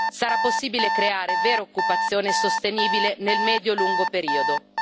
sarà possibile creare vera occupazione sostenibile nel medio lungo periodo.